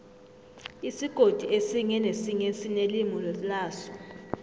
isigodi esinye nesinye sinelimi laso